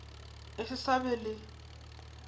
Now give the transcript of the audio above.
e se sa ba le